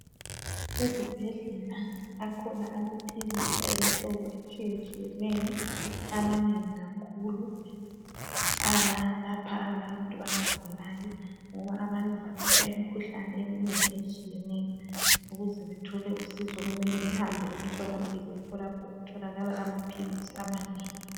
Ezibhedlela akhona amaphilisi ayimhlobo atshiyatshiyeneyo amanengi kakhulu alapha abantu abagulayo ngoba abantu bagula imikhuhlane eminengi etshiyeneyo ukuze bethole usizo kumele behambe emtholampilo yikho lapho okutholakala amaphilisi amanengi.